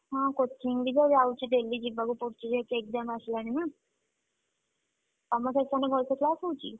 ହଁ coaching ବି ତ ଯାଉଚି। daily ଯିବାକୁ ତ ପଡ଼ୁଚି ଯେହେତୁ exam ଆସିଲାଣି ନା। ତମ section ରେ ଭଲସେ class ହଉଚି?